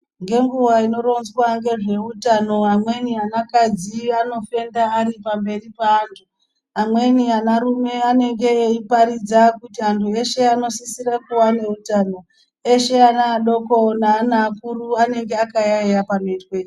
Ngenguwa inoronzwa ngezveutano amweni anakadzi anofenda ari pamberi peanthu amweni anarume anenge ei paridza kuti anthu eshe anosisira kuva neutano eshe ana adoko neana akuru anenge akayaiya panoitwe izvi.